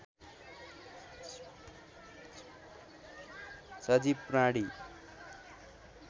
सजीव प्राणी